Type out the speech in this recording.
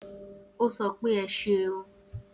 O sopé e ṣeun